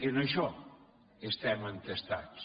en això estem entestats